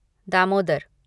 Damodar